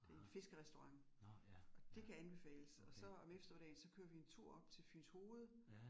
Det en fiskerestaurant og det kan anbefales, og så om eftermiddagen så kører vi en tur op til Fyns hoved